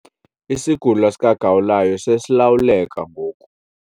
Isigulo sikagawulayo sesilawuleka ngoku.